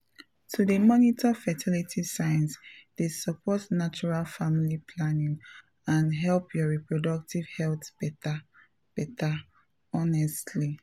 to dey monitor fertility signs dey support natural family planning and help your reproductive health better better honestly.